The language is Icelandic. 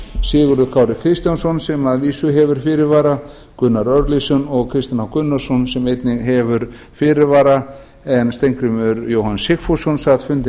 sigurður kári kristjánsson sem að vísu hefur fyrirvara gunnar örlygsson og kristinn h gunnarsson sem einnig hefur fyrirvara en steingrímur jóhann sigfússon sat fundi